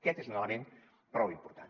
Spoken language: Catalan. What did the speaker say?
aquest és un element prou important